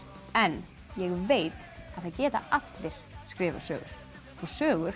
en ég veit að það geta allir skrifað sögur og sögur